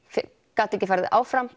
gat ekki farið áfram